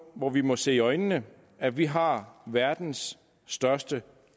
hvor vi må se i øjnene at vi har verdens største